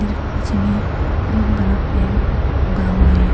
पीछे में बहुत बड़ा पेड़ उगा हुआ है।